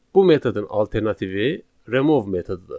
Bu metodun alternativi remove metodudur.